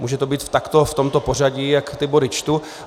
Může to být takto v tomto pořadí, jak ty body čtu.